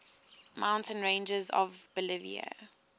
mountain ranges of bolivia